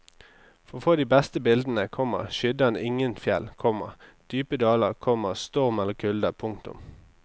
For å få de beste bildene, komma skydde han ikke fjell, komma dype daler, komma storm eller kulde. punktum